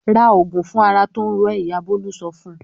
"Ra òògùn fún ara tó ń ro ẹ́!" Ìyá Bólú sọ fún un.